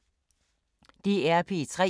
DR P3